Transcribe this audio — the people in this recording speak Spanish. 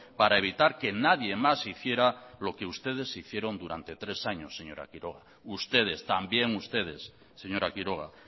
para evitar que nadie más hiciera lo que ustedes hicieron durante tres años señora quiroga ustedes también ustedes señora quiroga